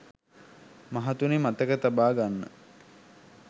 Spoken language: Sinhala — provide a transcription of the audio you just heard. මහතුනි මතක තබා ගන්න